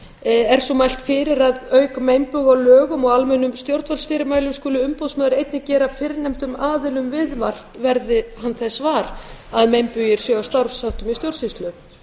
er svo mælt fyrir að auk meinbuga á lögum og almennum stjórnvaldsfyrirmælum skuli umboðsmaður einnig gera fyrrnefndum aðilum viðvart verði hann þess var að meinbugir séu á starfsháttum í stjórnsýslu